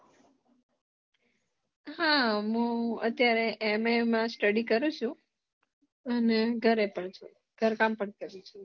હા મુ અત્યારે MA મા Study કરું છું અને ઘરે પણ છું ઘર કામ પણ કરું છું